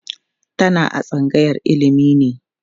tana a tsangayar ilimi ne